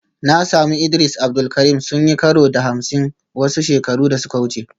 Na sami Idris Abdul Karim sun yi karo da Hamsin wasu shekaru da suka wuce